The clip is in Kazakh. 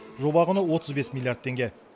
жоба құны отыз бес миллиард теңге